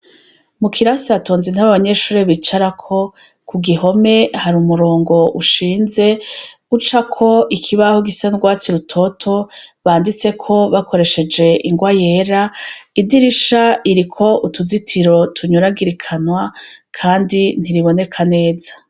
Mukirase hatonze intebe abanyeshure bicarako kugihome hari umurongo ushinze ucako ikibaho gisa nurwatsi rutoto banditseko bakoresheje ingwa yera idirisha iriko utuzitiro tunyuragirikanywa kandi ntiriboneka neza